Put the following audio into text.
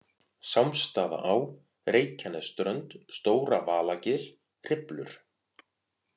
Sámsstaðaá, Reykjanesströnd, Stóra-Valagil, Hriflur